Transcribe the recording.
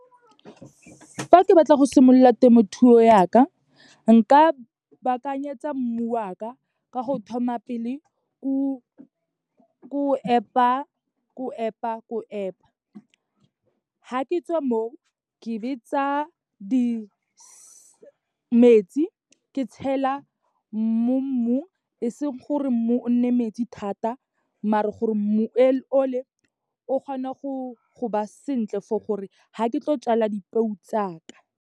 Fa ke batla go simolola temothuo yaka, nka baakanyetsa mmu wa ka, ka go thoma pele ko epa, ko epa, ko epa. Ha ke tswa mo, ke be tsa metsi ke tshela mo mmung, e seng gore mmu o nne metsi thata, maar-e gore mmu o le, o kgone go ba sentle for gore ga ke tlo jala di peu tsaka.